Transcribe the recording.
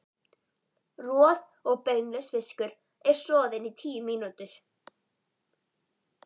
Roð- og beinlaus fiskur er soðinn í tíu mínútur.